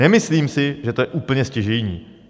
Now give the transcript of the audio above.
Nemyslím si, že to je úplně stěžejní.